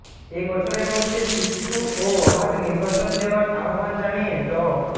এ বছরের মধ্যে সুষ্ঠু ও অবাধ নির্বাচন দেওয়ার আহ্বান জানিয়ে ড